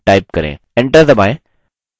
enter दबाएँ